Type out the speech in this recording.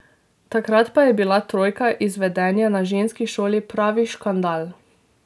Takrat pa je bila trojka iz vedenja na ženski šoli pravi škandal.